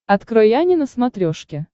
открой ани на смотрешке